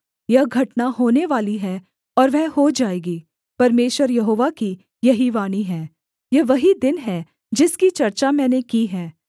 यह घटना होनेवाली है और वह हो जाएगी परमेश्वर यहोवा की यही वाणी है यह वही दिन है जिसकी चर्चा मैंने की है